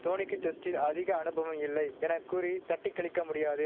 தோனிக்கு டெஸ்டில் அதிக அனுபவம் இல்லை என கூறி தட்டிக்கழிக்க முடியாது